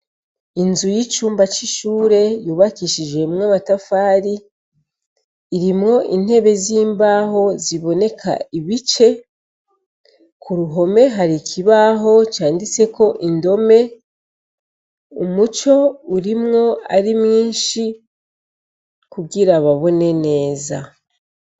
Inzu yicumba c'ishure yubakishijemwo amatafari irimwo intebe zimbaho ziboneka ibice kuruhome hari ikibaho canditseko idome umuco urimwo ari mwinshi kugira babone neza.